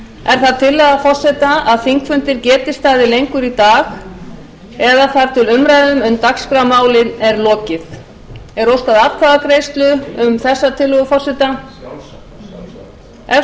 er það tillaga forseta að þingfundir geti staðið lengur í dag eða þar til umræðum um dagskrármálin er lokið